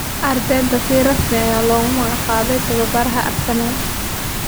Arteta si rasmi ayaa loogu magacaabay tababaraha Arsenal.